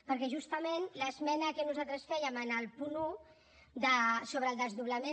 perquè justament l’esmena que nosaltres fèiem en el punt un sobre el desdoblament